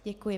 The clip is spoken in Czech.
Děkuji.